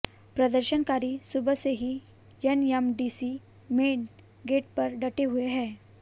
प्रदर्शनकारी सुबह से ही एनएमडीसी मेन गेट पर डटे हुए हैं